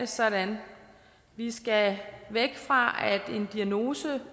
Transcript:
sådan vi skal væk fra at en diagnose